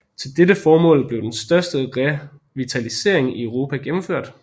Til dette formål blev den største revitalisering i Europa gennemført